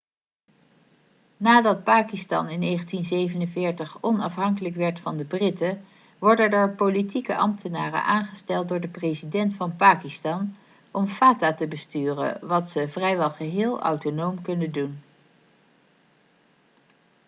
nadat pakistan in 1947 onafhankelijk werd van de britten worden er politieke ambtenaren' aangesteld door de president van pakistan om fata te besturen wat ze vrijwel geheel autonoom kunnen doen